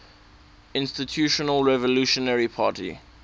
institutional revolutionary party